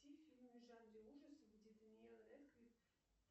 включи фильм в жанре ужасов где дэниэл рэдклифф